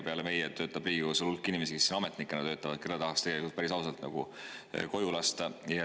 Peale meie töötab Riigikogus ametnikena veel hulk inimesi, kelle tahaks päris ausalt tegelikult koju lasta.